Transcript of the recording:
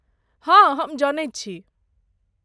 हँ, हम जनैत छी।